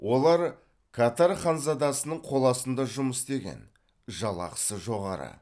олар катар ханзадасының қоластында жұмыс істеген жалақысы жоғары